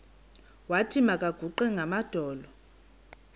wathi makaguqe ngamadolo